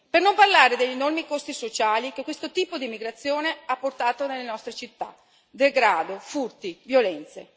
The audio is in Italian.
Per non parlare degli enormi costi sociali che questo tipo di immigrazione ha portato nelle nostre città degrado, furti, violenze.